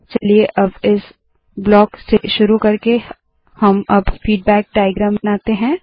चलिए अब इस ब्लॉक से शुरू करके हम अब फीडबैक डाइअग्रैम बनाते है